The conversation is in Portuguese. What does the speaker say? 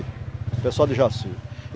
O pessoal de Jaci.